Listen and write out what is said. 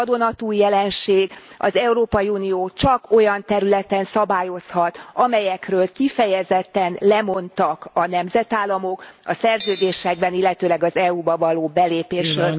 Ez egy vadonatúj jelenség, az Európai Unió csak olyan területen szabályozhat, amelyekről kifejezetten lemondtak a nemzetállamok a szerződésekben, illetőleg az EU ba való belépésről.